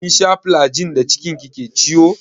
Kin sha flajil da cikin ki ke ciwo?